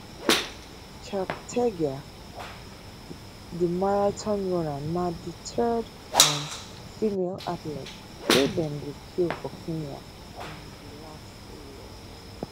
cheptegei di marathon runner na di third um female athlete wey dem go kill for kenya in di last three years